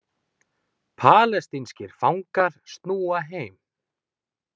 Palestínskir fangar snúa heim